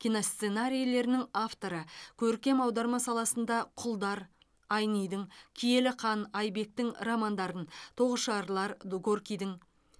киносценарийлерінің авторы көркем аударма саласында құлдар айнидің киелі қан айбектің романдарын тоғышарлар горкийдің